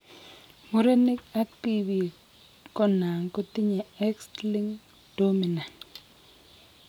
Murenik ak Tibik konan kotinye X linked dominant